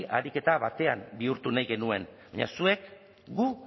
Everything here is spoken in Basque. ariketa batean bihurtu nahi genuen baina zuek gu